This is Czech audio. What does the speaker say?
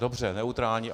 Dobře, neutrální.